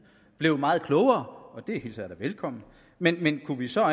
blevet meget klogere og det hilser jeg da velkommen men kunne vi så